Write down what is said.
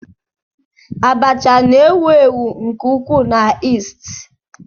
Abacha na-ewu ewu nke ukwuu na East.